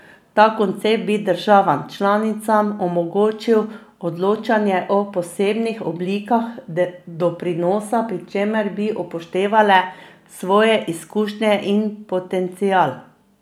Ta koncept bi državam članicam omogočil odločanje o posebnih oblikah doprinosa, pri čemer bi upoštevale svoje izkušnje in potencial.